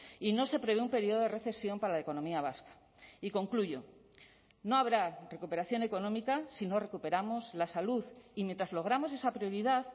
y no se prevé un periodo de recesión para la economía vasca y concluyo no habrá recuperación económica si no recuperamos la salud y mientras logramos esa prioridad